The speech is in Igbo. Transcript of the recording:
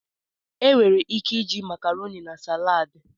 Enwere ike iji Makaroni na salaad.